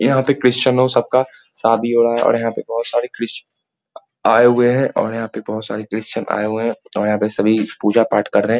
यहां पर क्रिस्चयनो सबका शादी हो रहा है। और यहां पे बहोत सारे क्रिस्चयन आए हुए है और यहां पे बहोत सारे क्रिस्चयन आए हुए है और यहां पे सभी पूजा पाठ कर रहे --